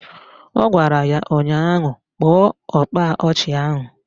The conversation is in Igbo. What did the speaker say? Ọ gwara ya ụnyaahụ " Kpọọ ọkpa ọchị ahụ"!